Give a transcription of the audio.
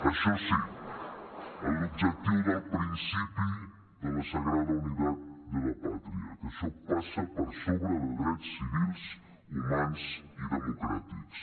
això sí amb l’objectiu del principi de la sagrada unitat de la patria que això passa per sobre de drets civils humans i democràtics